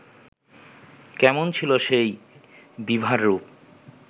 কেমন ছিল সেই বিভার রূপ